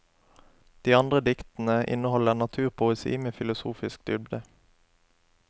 De andre diktene innholder naturpoesi med filosofisk dybde.